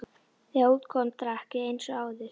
Þegar út kom drakk ég eins og áður.